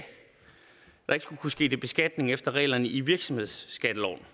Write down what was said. kunne ske beskatning efter reglerne i virksomhedsskatteloven